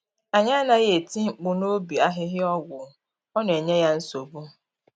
Anyị anaghị eti mkpu n’ubi ahịhịa ọgwụ, ọ na enye ya nsogbu.